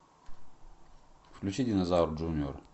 включи динозавр джуниор